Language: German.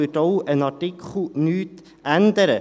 daran wird auch ein Artikel nichts ändern.